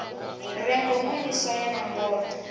re ngomu ni swaye nomboro